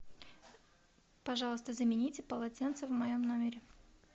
пожалуйста замените полотенца в моем номере